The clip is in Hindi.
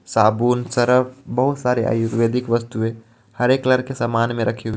साबुन सरफ बहुत सारे आयुर्वेदिक वस्तुएं हरे कलर के सामान मे रखी--